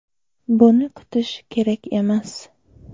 Buni kutish kerak emas.